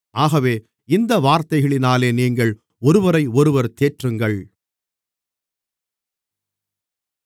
ஆகவே இந்த வார்த்தைகளினாலே நீங்கள் ஒருவரையொருவர் தேற்றுங்கள்